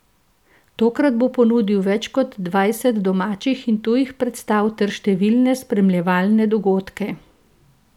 Tokrat bo ponudil več kot dvajset domačih in tujih predstav ter številne spremljevalne dogodke.